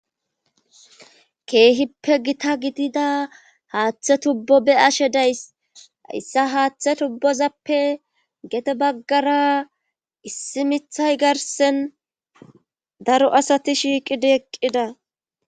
keehippe gita gidida haaththe tubbo be ashe days issa haaththe tubbozappe gete baggara issi mithay garsen daro asati shiiqida eqqida